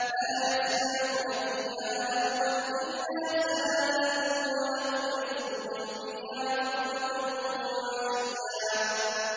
لَّا يَسْمَعُونَ فِيهَا لَغْوًا إِلَّا سَلَامًا ۖ وَلَهُمْ رِزْقُهُمْ فِيهَا بُكْرَةً وَعَشِيًّا